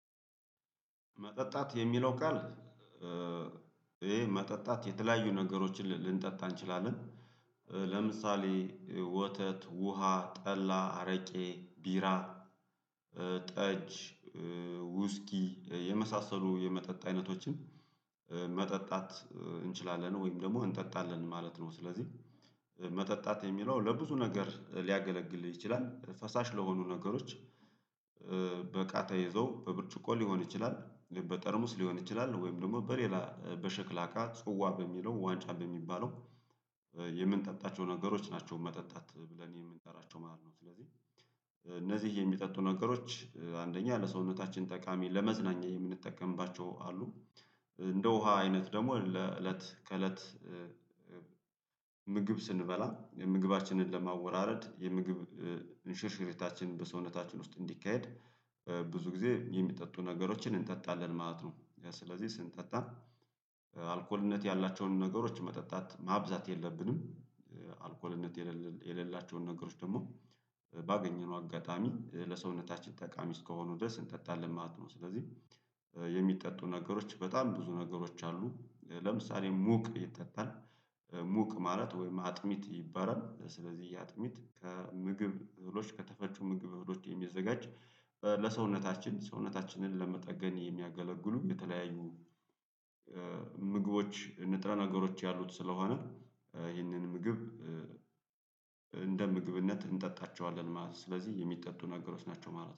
መጠጣት የሚለው ቃል? ይሄ መጠጣት የተለያዩ ነገሮችን ልንጠጣ እንችላለን። ለምሳሌ ወተት ውሃ ጠላ አረቄ ቢራ ጠጅ ውስኪ የመሳሰሉ የመጠጥ አይነቶችን። መጠጣት እንችላለን ወይም ደግሞ እንጠጣለን ማለት ነው። ስለዚህ መጠጣት የሚለው ለብዙ ነገር ሊያገለግልህ ይችላል ፈሳሽ ለሆኑ ነገሮች። በቃ ተይዘው በብርጭቆ ሊሆን ይችላል በጠርሙስ ሊሆን ይችላል ወይም ደግሞ በሌላ በሸክላ እቃ ጽዋ በሚለው ዋንጫ በሚባለው የምንጠጣቸው ነገሮች ናቸው። መጠጣት ብለን የምንጠራቸው ማለት ነው። ስለዚህ እነዚህ የሚጠጡ ነገሮች አንደኛ ለሰውነታችን ጠቃሚ ለመዝናኛ የምንጠቀምባቸው አሉ። እንደ ውሃ አይነት ደግሞ ለእለት ከእለት። ምግብ ስንበላ የምግባችንን ለማወራረድ የምግብ እንሽርሽሪታችን በሰውነታችን ውስጥ እንዲካሄድ ብዙ ጊዜ የሚጠጡ ነገሮችን እንጠጣለን ማለት ነው። ስለዚህ ስንጠጣ አልኮልነት ያላቸውን ነገሮች መጠጣት ማብዛት የለብንም። አልኮልነት የሌላቸውን ነገሮች ደግሞ ባገኘነው አጋጣሚ ለሰውነታችን ጠቃሚ እስከሆኑ ድረስ እንጠጣለን ማለት ነው። ስለዚህ የሚጠጡ ነገሮች በጣም ብዙ ነገሮች አሉ። ለምሳሌ ሙቅ ይጠጣል ሙቅ ማለት ወይም አጥሚት ይባላል። ስለዚህ የአጥሚት ከምግብ እህሎች ከተፈጩ ምግብ እህሎች የሚዘጋጅ ለሰውነታችን ሰውነታችንን ለመጠገን የሚያገለግሉ የተለያዩ ምግቦች ንጥረ ነገሮች ያሉት ስለሆነ ይህንን ምግብ እንደ ምግብነት እንጠጣቸዋለን ማለት ነው። ስለዚህ የሚጠጡ ነገሮች ናቸው ማለት ነው